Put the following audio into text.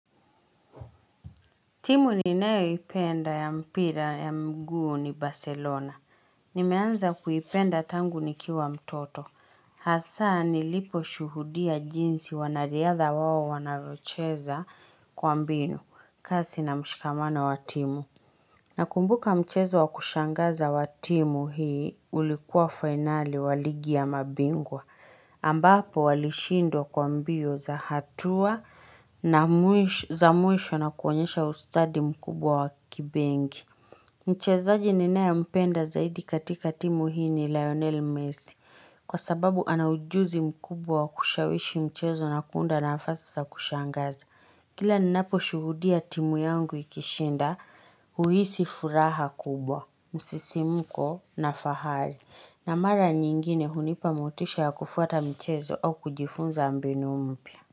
Timu ninayo ipenda ya mpira ya mguu ni Barcelona. Nimeanza kuipenda tangu nikiwa mtoto. Hasa ni lipo shuhudia jinsi wanariadha wao wanavyocheza kwa mbinu kasi na mshikamano wa timu. Na kumbuka mchezo wa kushangaza wa timu hii ulikuwa finali wa ligi ya mabingwa. Ambapo walishindwa kwa mbio za hatua na mwisho na kuonyesha ustadi mkubwa wa kibengi Mchezaji ninae mpenda zaidi katika timu hii ni Lionel Messi Kwa sababu ana ujuzi mkubwa kushawishi mchezo na kuunda nafasi za kushangaza Kila ninapo shuhudia timu yangu ikishinda huhisi furaha kubwa msisimko na fahali na mara nyingine hunipa motisha ya kufuata mchezo au kujifunza mbinu mpya.